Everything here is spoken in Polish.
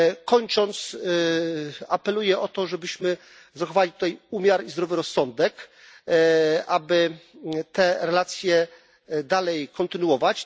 Kończąc, apeluję o to, żebyśmy zachowali tutaj umiar i zdrowy rozsądek, aby te relacje dalej kontynuować.